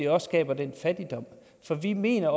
også skaber fattigdom for vi mener